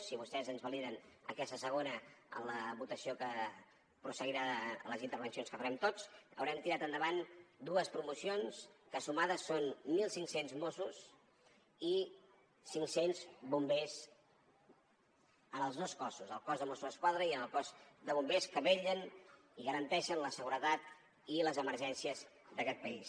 si vostès ens validen aquesta segona en la votació que prosseguirà a les intervencions que farem tots haurem tirat endavant dues promocions que sumades són mil cinc cents mossos i cinc cents bombers en els dos cossos el cos de mossos d’esquadra i el cos de bombers que vetllen i garanteixen la seguretat i les emergències d’aquest país